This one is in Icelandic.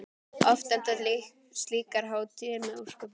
Oft enda slíkar hátíðir með ósköpum.